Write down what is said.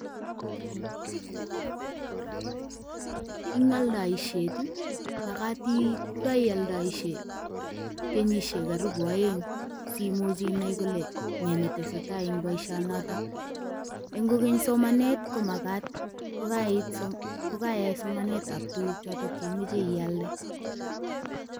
Eng aldaisiet, makat kokaialdoisie kenyishek karibu aeng simuch inai kole ne netesetai eng boisionotok. Eng kokeny somanet ko makat kokaiit, kokaiyai somanetab tuguuk chotok che imache ialde.